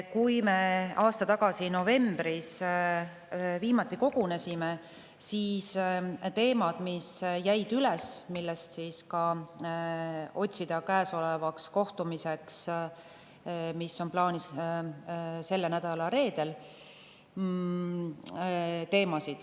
Kui me aasta tagasi novembris viimati kogunesime, siis jäid üles teemad, mida käesoleva kohtumisel, mis on plaanis selle nädala reedel.